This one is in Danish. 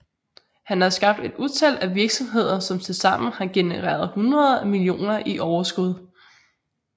Han har skabt et utal af virksomheder som tilsammen har genereret hundreder af millioner i overskud